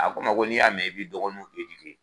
A ko n' ma ko n'i y'a mɛn i bi dɔgɔninw edike